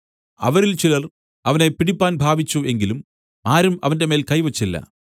അവരിൽ ചിലർ അവനെ പിടിപ്പാൻ ഭാവിച്ചു എങ്കിലും ആരും അവന്റെമേൽ കൈ വെച്ചില്ല